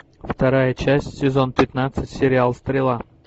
вторая часть сезон пятнадцать сериал стрела